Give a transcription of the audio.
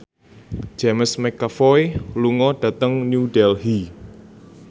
James McAvoy lunga dhateng New Delhi